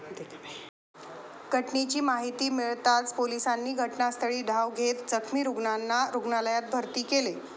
घटनेची माहिती मिळताच पोलिसांनी घटनास्थळी धाव घेत जखमी रुग्णांना रुग्णालयात भरती केले.